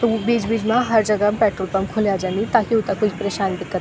तो वू बीच बीच मा हर जगह म पेट्रोल पंप खुल्याँ जनी ताकि उथें कुछ परशानी दिक्कत --